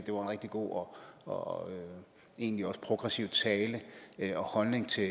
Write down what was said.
rigtig god og egentlig også progressiv tale og holdning til